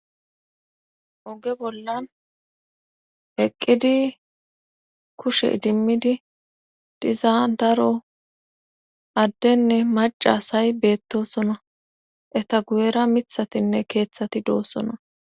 oge bollan eqqidi kushe dimmidi dizaa daro addenne maca asay beettosona eta gu7era mithatinne keeththati doossona